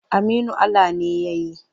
Aminu Ala ne ya yi.